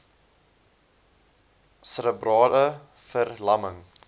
serebrale ver lamming